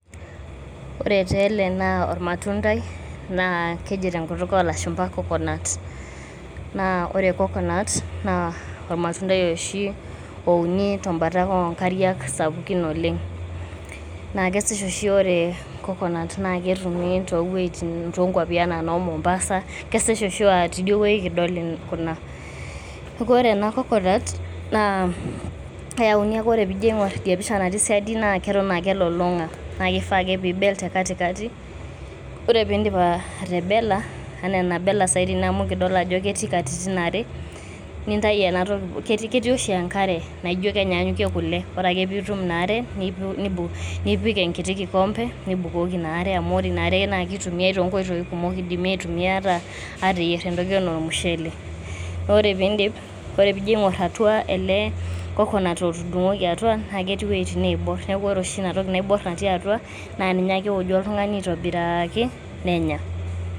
Ore taa ele naa ormatundai naa keji tenkutuk olashumba ''coconut'', Naa ore coconut naa ormatundai oshi ouni tembata o nkariak sapukin oleng'. Naa kesish oshi ore coconut naake etumi to wuoitin naijo noo Mombasa, kesish o aa tidie wuei kidol kuna. Neeku ore ena coconut, naa keyauni ake ore piijo iing'or idia pisha natii siadi naa keton ake elulung'a naake ifaa ake pibel te katikati. Ore piindip atebela enaa enabela saa hii tene amu kidol ajo ketii katitin are, nintayu ena toki um ketii oshi enkare naijo kenyaanyuke kule, ore ake piitum ina are nipik enkiti kikombe nibukoki ina are amu ore ina are naake itumiai to nkoitoi kumok Idimi aitumia ata ateyier entoki enaa ormushele. Ore piindip, ore piijo ing'or atua ele coconut otudung'oki atua, naake etii uwuetin naibor. Naake ore oshi inatoki naibor natii atua naa ninye ake ewoju oltung'ani aitobiraaki nenya.